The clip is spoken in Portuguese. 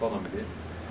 Qual o nome deles?